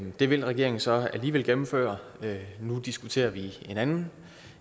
det ville regeringen så alligevel gennemføre nu diskuterer vi en anden